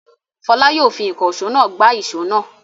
Fọlá yóò fi ìkànṣó náà gbá ìṣó náà.